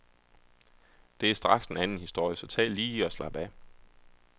Det er straks en anden historie, så tag lige og slap af.